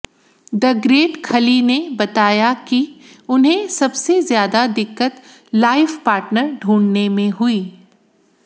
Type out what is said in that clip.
the great Khali ने बताया कि उन्हें सबसे ज्यादा दिक्कत लाइफ पार्टनर ढूंढ़ने में हुई